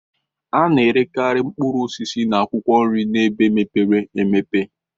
A na-erekarị mkpụrụ osisi na akwụkwọ nri n'ebe mepere emepe..